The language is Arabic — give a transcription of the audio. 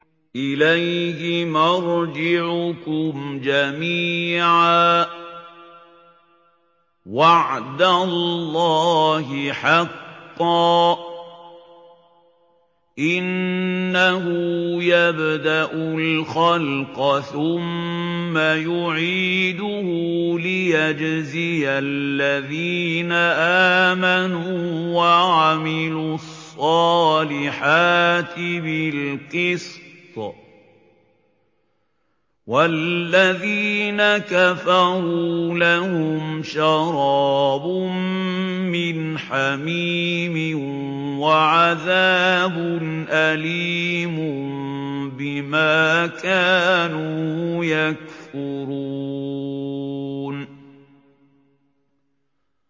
إِلَيْهِ مَرْجِعُكُمْ جَمِيعًا ۖ وَعْدَ اللَّهِ حَقًّا ۚ إِنَّهُ يَبْدَأُ الْخَلْقَ ثُمَّ يُعِيدُهُ لِيَجْزِيَ الَّذِينَ آمَنُوا وَعَمِلُوا الصَّالِحَاتِ بِالْقِسْطِ ۚ وَالَّذِينَ كَفَرُوا لَهُمْ شَرَابٌ مِّنْ حَمِيمٍ وَعَذَابٌ أَلِيمٌ بِمَا كَانُوا يَكْفُرُونَ